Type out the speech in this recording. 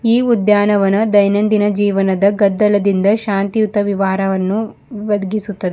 ಈ ಉದ್ಯಾನವನ ದೈನಂದಿನ ಜೀವನದ ಗದ್ದಲದಿಂದ ಶಾಂತಿಯುತ ವಿವಾರವನ್ನು ಒದಗಿಸುತ್ತದೆ.